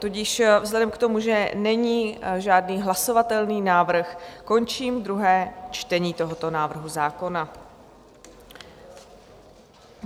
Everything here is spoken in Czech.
Tudíž vzhledem k tomu, že není žádný hlasovatelný návrh, končím druhé čtení tohoto návrhu zákona.